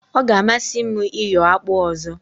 O ga amasi m iyo akpụ ọzọ.